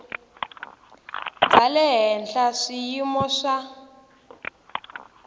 bya le henhla swiyimo swa